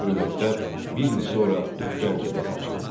Belə bir məktəb bir il sonra Gəncədə də açıldı.